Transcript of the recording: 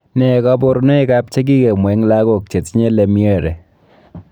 Nee kabarunoikab che kikemwa eng lagok chetinye Lemierre.